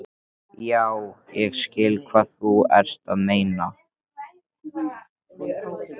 Já, ég skil hvað þú ert að meina.